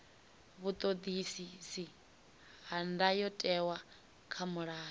vhuṱoḓisisi ha ndayotewa kha mulayo